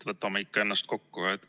Võtame ikka ennast kokku!